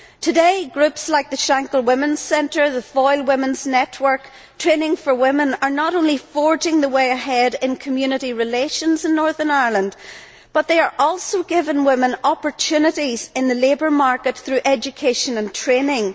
Today, groups like the Shankill Women's Centre, the Foyle Women's Network and Training for Women are not only forging the way ahead in community relations in Northern Ireland, but are also giving women opportunities in the labour market through education and training.